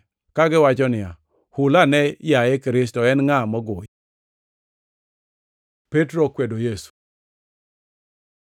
kagiwacho niya, “Hul ane, yaye Kristo. En ngʼa mogoyi?” Petro okwedo Yesu